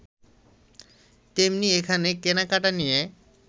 তেমনি এখানে কেনাকেটা নিয়ে